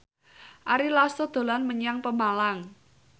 Ari Lasso dolan menyang Pemalang